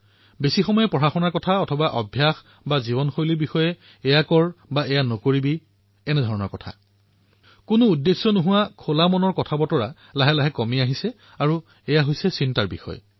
অধিক সময়েই অধ্যয়নৰ কথা অথবা অভ্যাসসমূহৰ কথা আৰু পিছত জীৱনশৈলীক লৈ এনেকুৱা কৰ এনেকুৱা নকৰ বিনা কোনো আশা নকৰাকৈ মুক্ত মনে কথা পতাটো ধীৰে ধীৰে পৰিয়ালতো কম হৈ পৰে আৰু এয়া চিন্তাৰ বিষয়